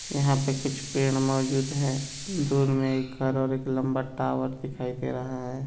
यहाँ पे कुछ पेड़ मोजूद है| दूर में एक घर और एक लंबा टावर दिखाई दे रहा है।